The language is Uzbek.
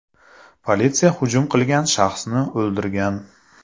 Politsiya hujum qilgan shaxsni o‘ldirgan.